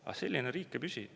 Aga selline riik ei püsi.